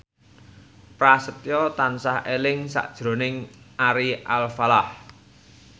Prasetyo tansah eling sakjroning Ari Alfalah